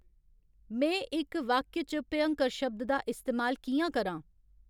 में इक वाक्य च भ्यंकर शब्द दा इस्तेमाल कि'यां करां ?